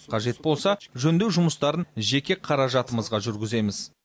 қажет болса жөндеу жұмыстарын жеке қаражатымызға жүргіземіз